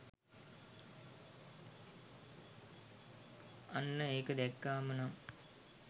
අන්න ඒක දැක්කාම නම්